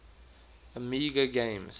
amiga games